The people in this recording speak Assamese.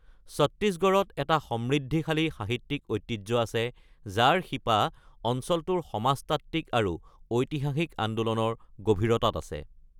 ছত্তীশগড়ত এটা সমৃদ্ধিশালী সাহিত্যিক ঐতিহ্য আছে যাৰ শিপা অঞ্চলটোৰ সমাজতাত্ত্বিক আৰু ঐতিহাসিক আন্দোলনৰ গভীৰতাত আছে।